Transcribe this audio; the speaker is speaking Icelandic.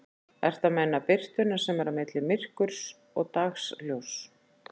Ertu að meina birtuna sem er á milli myrkurs og dagsljóss?